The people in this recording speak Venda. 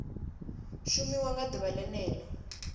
shumiwa nga ḓuvha ḽene ḽo